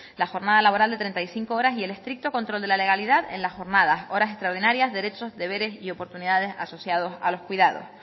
la jornada laboral de treinta y cinco horas y el estricto control de la legalidad en la jornada horas extraordinarias derechos deberes y oportunidades asociados a los cuidados